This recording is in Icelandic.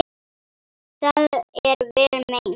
Það er vel meint.